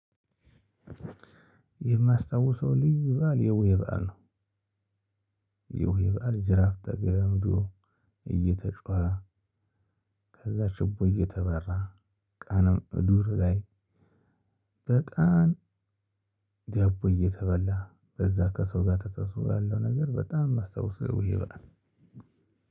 የማስታውሰው ልዩ በዓል የቡሄ በዓል ነው። የቡሄ በዓል ጅራፍ ተገምዶ እየተጮኸ። ከዛ ችቦ እየተበራ ቀንም ዱር ላይ። በቀን ዳቦ እየተበላ በዛ ከሰው ጋር ተሰብስቦ ያለው ነገር በጣም የማስታውሰው የቡሄ በዓል።